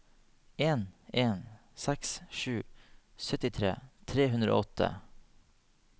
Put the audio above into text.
en en seks sju syttitre tre hundre og åtte